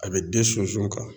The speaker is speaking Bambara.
A bɛ den sunsun kan.